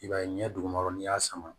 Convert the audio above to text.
I b'a ye ɲɛ duguma n'i y'a sama